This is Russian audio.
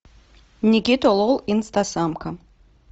никита лол инстасамка